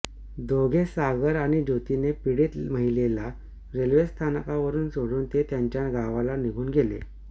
दोघे सागर आणि ज्योतीने पीडित महिलेला रेल्वेस्थानकावर सोडून ते त्यांच्या गावाला निघून गेले